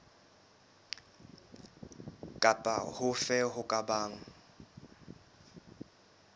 kapa hofe ho ka bang